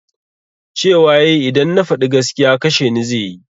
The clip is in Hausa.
Cewa yayi idan na faɗi gaskiya kasheni zai yi